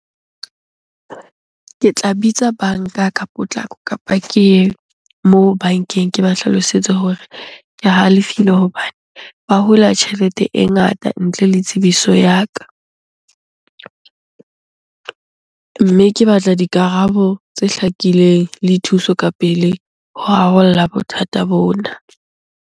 Ke tla bitsa banka ka potlako kapa ke ye moo bankeng. Ke ba hlalosetse hore ke halefile hobane ba hula tjhelete e ngata ntle le tsebiso ya ka. Mme ke batla dikarabo tse hlakileng le thuso ka pele ho rarolla bothata bona.